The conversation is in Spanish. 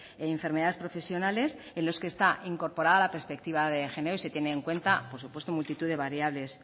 y enfermedades profesionales en los que está incorporada la perspectiva de género y se tiene en cuenta por supuesto multitud de variables